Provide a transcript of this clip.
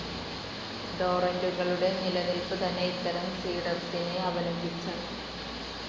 ടോറൻ്റുകളുടെ നിലനിൽപ്പ് തന്നെ ഇത്തരം സീഡർസിനെ അവലംബിച്ചാണ്.